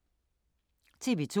TV 2